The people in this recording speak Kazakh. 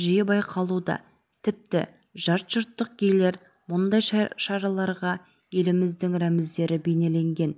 жиі байқалуда тіпті жатжұрттық гейлер мұндай шараларға еліміздің рәміздері бейнеленген